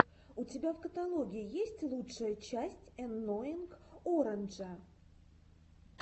у тебя в каталоге есть лучшая часть энноинг оранджа